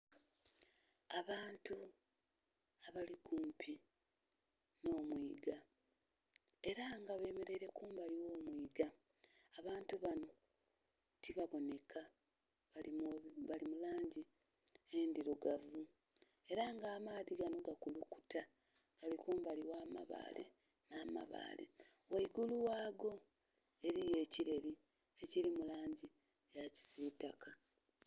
Abantu abali kumpi nho mwiga era nga bemereire kumbali oghomwiga, abantu banho tibabonheka bali mulangi endhilugavu era ng'amaadhi ganho gali kumbali oghamabaale, nh'amabaale ghaigulu ghago ghaligho ekireri ekiri mulangi yakisitaka.